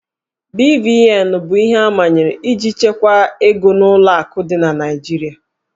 BVN bụ ihe amanyere iji chekwaa ego n'ụlọ akụ dị na Naịjirịa